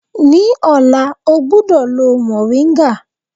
Ní ọ̀la, ọ gbúdọ̀ lo mòríńgà.